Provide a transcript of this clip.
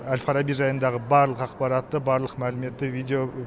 әл фараби жайындағы барлық ақпаратты барлық мәліметті видео